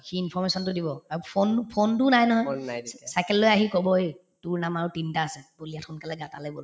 সি information তো দিব আৰু phone phone তোও নাই নহয় city cycle লৈ আহি কব এই তোৰ নাম আৰু তিনটা আছে বল ইয়াত সোনকালে গা তালৈ বল